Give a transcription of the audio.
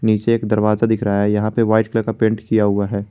नीचे एक दरवाजा दिख रहा है यहां पे वाइट कलर का पेंट किया हुआ है।